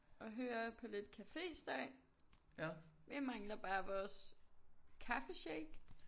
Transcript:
Og høre på lidt caféstøj. Vi mangler bare vores kaffeshake